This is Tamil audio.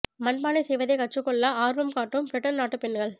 மண் பானை செய்வதை கற்றுக்கொள்ள ஆா்வம் காட்டும் பிரிட்டன் நாட்டுப் பெண்கள்